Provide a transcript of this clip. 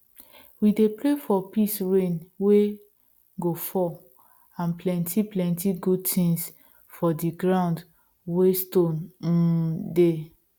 we dey pray for peace rain wey go fall and plenty plenty good tins for di ground wey stone um dey